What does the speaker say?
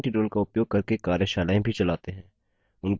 spoken tutorials का उपयोग करके कार्यशालाएँ भी चलाते हैं